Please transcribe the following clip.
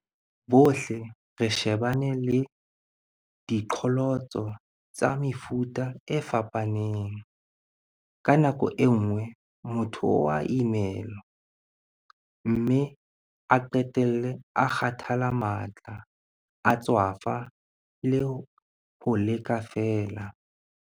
Bohle re shebane le diqholotso tsa mefuta e fapaneng. Ka nako e nngwe, motho o a imelwa, mme a qetelle a kgathala matla, a tswafa le ho leka feela.